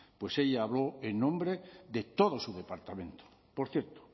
pues ella hablo en nombre de todo su departamento por cierto